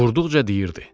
Vurduqca deyirdi: